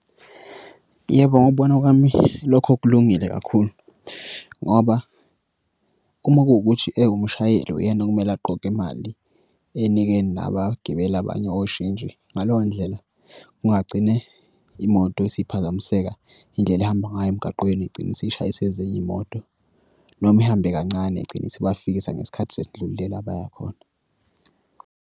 Yebo, ngokubona kwami, lokho kulungile kakhulu ngoba uma kuwukuthi umshayeli uyena okumele aqoqe imali enike nabagibeli abanye oshintshi ngalo ndlela kungagcine imoto isiphazamiseka indlela ehamba ngayo emgaqweni igcine isishayise ezinye iy'moto noma ihambe kancane igcine isibafikisa ngesikhathi sesidlule la abaya khona.